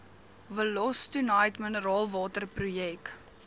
wollostonite mineraalwater projek